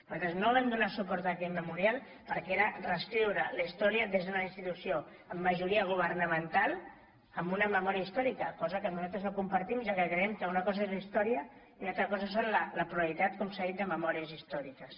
nosaltres no vam donar suport a aquell memorial perquè reescriure la història des d’una institució amb majoria governamental amb una memòria històrica cosa que nosaltres no compartim ja que creiem que una cosa és la història i una altra cosa és la pluralitat com s’ha dit de memòries històriques